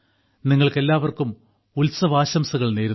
നിങ്ങൾക്കെല്ലാവർക്കും ഉത്സവാശംസകൾ നേരുന്നു